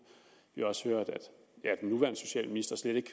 vi har også hørt at den nuværende socialminister slet ikke